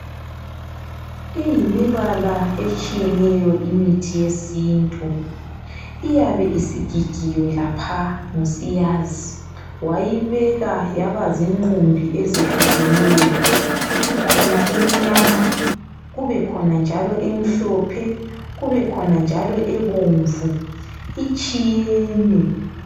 Iyimibala etshiyeneyo imithi yesintu. Iyabe isigigiwe laphaya ngusiyazi wayibeka yaba zinqumbi ezehlukeneyo. Ikhona emnyama, emhlophe kanye lebomvu itshiyene.